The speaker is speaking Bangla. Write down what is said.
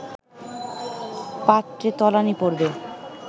পাত্রে তলানী পড়বে